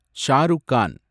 Shah Rukh Khan